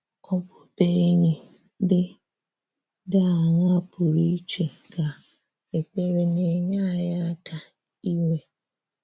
Ọbụbụ̀enyì dị dị aṅaà pụrụ iche ka ekperé na-enyè anyị àka inwe?